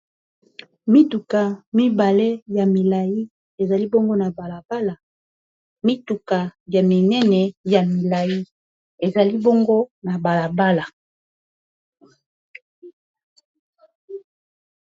mituka mibale ya milai ezali bongo na balaala mituka ya minene ya milai ezali bongo na balabala